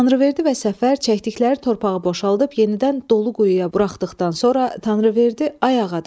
Tanrıverdi və Səfər çəkdikləri torpağı boşaldıb, yenidən dolu quyuya buraxdıqdan sonra Tanrıverdi Ağa dedi: